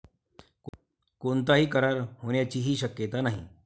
कोणताही करार होण्याचीही शक्यता नाही.